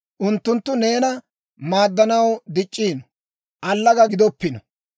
Unttunttu neena maaddanaw dic'c'ino; allaga gidoppino.